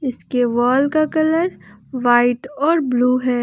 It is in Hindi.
इसके वॉल का कलर व्हाइट और ब्लू है।